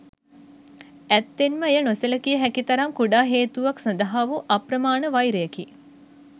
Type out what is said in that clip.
ඇත්තෙන්ම එය නොසැලකිය හැකි තරම් කුඩා හේතුවක් සඳහා වූ අප්‍රමාණ වෛරයකි.